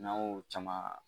N'an y'o caman